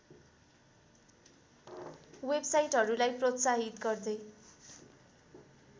वेबसाइटहरूलाई प्रोत्साहित गर्दै